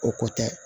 O ko tɛ